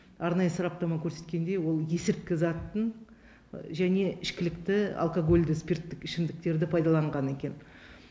арнайы сараптама көрсеткендей ол есірткі затын және ішкілікті алкогольді спирттік ішімдіктерді пайдаланған екен